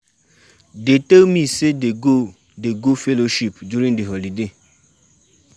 Dey tell me say dey go dey go fellowship during the holiday.